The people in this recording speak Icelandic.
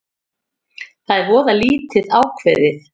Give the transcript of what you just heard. Það er voða lítið ákveðið